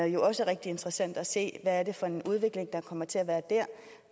jo også rigtig interessant at se er for en udvikling der kommer til